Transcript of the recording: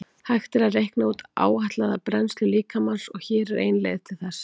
Hægt er að reikna út áætlaða brennslu líkamans og hér er ein leið til þess.